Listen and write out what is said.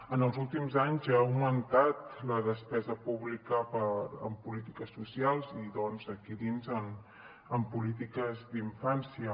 en els últims anys ha augmentat la despesa pública en polítiques socials i aquí dins en polítiques d’infància